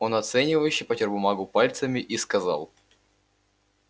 он оценивающе потёр бумагу пальцами и сказал